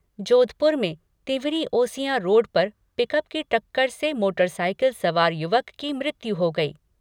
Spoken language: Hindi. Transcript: जोधपुर में तिंवरी ओसियां रोड पर पिकअप की टक्कर से मोटरसाईकिल सवार युवक की मृत्यु हो गई।